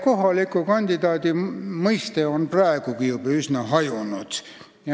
Kohaliku kandidaadi mõiste on praeguseks üsna hajunud.